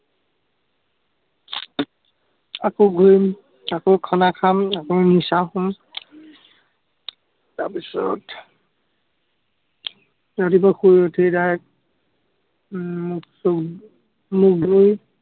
আকৌ ঘুৰিম, আকৌ খানা খাম, আকৌ নিচা হম, তাৰ পিছত ৰাতিপুৱা শুই উঠি direct উম মুখ-চুখ, মুখ ধুই